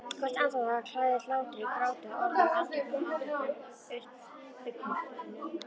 Hvert andartak hlaðið hlátri gráti orðum andköfum andvörpum upphrópunum.